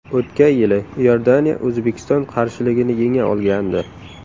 O‘tgan yili Iordaniya O‘zbekiston qarshiligini yenga olgandi.